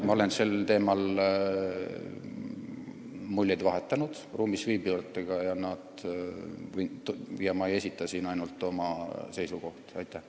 Ma olen sel teemal ruumis viibijatega muljeid vahetanud ja ma ei esita siin ainult oma seisukohta.